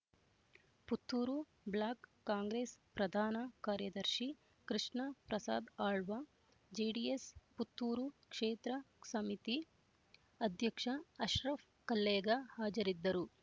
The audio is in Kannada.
ಪುತ್ತೂರು ಬ್ಲಾಕ್ ಕಾಂಗ್ರೆಸ್ ಪ್ರಧಾನ ಕಾರ್ಯದರ್ಶಿ ಕೃಷ್ಣ ಪ್ರಸಾದ್ ಆಳ್ವ ಜೆಡಿಎಸ್ ಪುತ್ತೂರು ಕ್ಷೇತ್ರ ಸಮಿತಿ ಅಧ್ಯಕ್ಷ ಅಶ್ರಫ್ ಕಲ್ಲೇಗ ಹಾಜರಿದ್ದರು